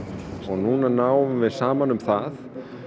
núna náum við saman um það